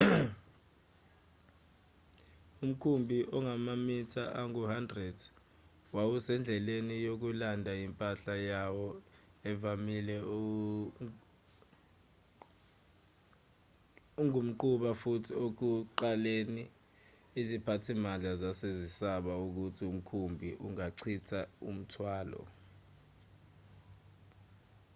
umkhumbi ongamamitha angu-100 wawusendleleni yokulanda impahla yawo evamile engumquba futhi ekuqaleni iziphathimandla zazesaba ukuthi umkhumbi ungachitha umthwalo